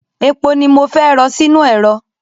Epo ni mo fẹ́ rọ sínú ẹ̀rọ.